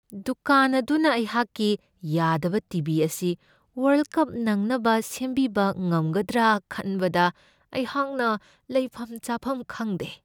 ꯗꯨꯀꯥꯟ ꯑꯗꯨꯅ ꯑꯩꯍꯥꯛꯀꯤ ꯌꯥꯗꯕ ꯇꯤ.ꯚꯤ. ꯑꯁꯤ ꯋꯔ꯭ꯜꯗ ꯀꯞ ꯅꯪꯅꯕ ꯁꯦꯝꯕꯤꯕ ꯉꯝꯒꯗ꯭ꯔꯥ ꯈꯟꯕꯗ ꯑꯩꯍꯥꯛꯅ ꯂꯩꯐꯝ ꯆꯥꯐꯝ ꯈꯪꯗꯦ ꯫